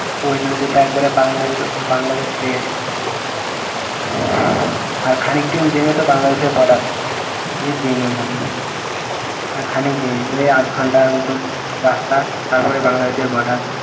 ওই নদীটা একবারে বাংলাদেশ বাংলাদেশে চলে গেছে আর খানিক দূর যেয়লি তো বাংলাদেশের border আমি যেইনি ওখানে আর খানিক যেয়ে ওই আধ ঘন্টার মতন রাস্তা তারপরে বাংলাদেশের border